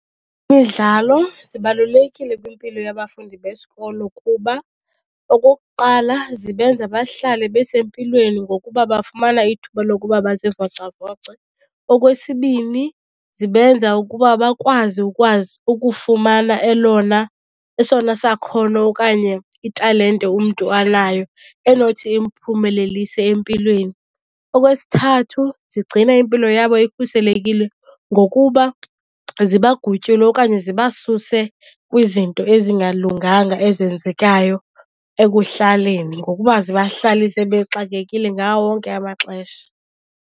Imidlalo zibalulekile kwimpilo yabafundi besikolo kuba okokuqala zibenza bahlale besempilweni ngokuba bafumana ithuba lokuba bazivocavoce. Okwesibini zibenza ukuba bakwazi ukwazi ukufumana elona, esona sakhono okanye italente umntu anayo enothi imphumelelise empilweni. Okwesithathu zigcina impilo yabo ikhuselekile ngokuba zibagutyule okanye zibasuse kwizinto ezingalunganga ezenzekayo ekuhlaleni ngokuba zibahlalise bexakekile ngawo wonke amaxesha.